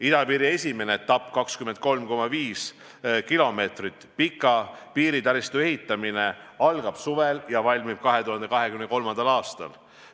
Idapiiri esimene etapp – 23,5 kilomeetrit pika piiritaristu ehitamine – algab suvel ja see valmib 2023. aastal.